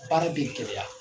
Baara bɛ gɛlɛya